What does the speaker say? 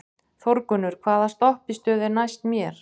Þórgunnur, hvaða stoppistöð er næst mér?